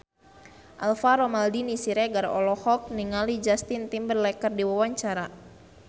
Alvaro Maldini Siregar olohok ningali Justin Timberlake keur diwawancara